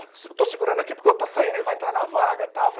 Eu estou segurando aqui porque o outro está saindo e ele vai entrar na vaga, tal.